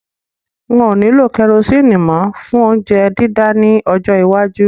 Wọn ò ní lo kerosini mó fún óuńjẹ dídá ní ọjọ́ iwájú